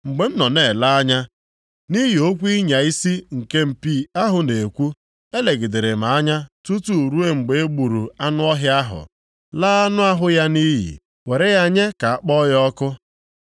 “Mgbe m nọ na-ele anya, nʼihi okwu ịnya isi nke mpi ahụ na-ekwu, elegidere m anya tutu ruo mgbe e gburu anụ ọhịa ahụ, laa anụ ahụ ya nʼiyi, were ya nye ka a kpọọ ya ọkụ.